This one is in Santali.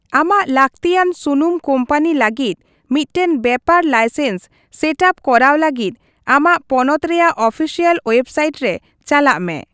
ᱟᱢᱟᱜ ᱞᱟᱹᱠᱛᱤᱭᱟᱱ ᱥᱩᱱᱩᱢ ᱠᱳᱢᱯᱟᱱᱤ ᱞᱟᱹᱜᱤᱫ ᱢᱤᱫᱴᱟᱝ ᱵᱮᱯᱟᱨ ᱞᱟᱭᱥᱮᱱᱥ ᱥᱮᱴᱼᱟᱯ ᱠᱚᱨᱟᱣ ᱞᱟᱹᱜᱤᱫ, ᱟᱢᱟᱜ ᱯᱚᱱᱚᱛ ᱨᱮᱭᱟᱜ ᱚᱯᱷᱤᱥᱤᱭᱟᱞ ᱳᱭᱮᱵᱽᱥᱟᱭᱤᱴ ᱨᱮ ᱪᱟᱞᱟᱜ ᱢᱮ ᱾